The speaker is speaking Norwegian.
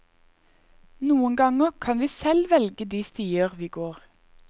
Noen ganger kan vi selv velge de stier vi går.